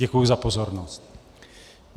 Děkuji za pozornost.